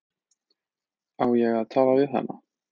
Á ég að tala við hana?